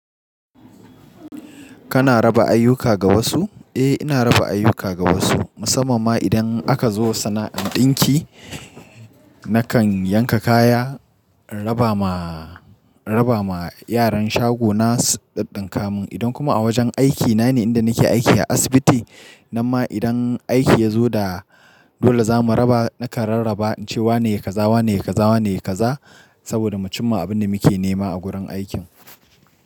Kana raba ayyuka ga wasu? Eh, ina raba ayyuka ga wasu, musamman ma idan aka zo sana'an ɗinki, nakan yanka kaya, raba ma, raba ma yaran shagona su ɗiɗɗinka mun. Idan kuma a wajen aikina ne, inda nake aiki a asibiti, nan ma idan aiki ya zo da dole za mu raba, nakan rarraba in ce wane yai kaza, wanene yai kaza, wanene yai kaza, saboda mu cimma abin da muke nema a gurin aikin.